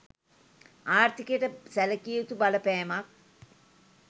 ආර්ථිකයට සැලකිය යුතු බලපෑමක්